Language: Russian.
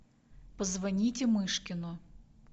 позвоните мышкину